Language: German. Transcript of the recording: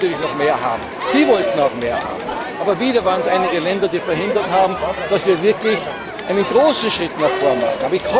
Wir wollten natürlich noch mehr haben, sie wollten auch mehr haben, aber wieder waren es einige Länder, die verhindert haben, dass wir wirklich einen großen Schritt nach vorne machen.